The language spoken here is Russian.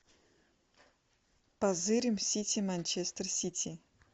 позырим сити манчестер сити